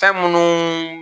Fn munu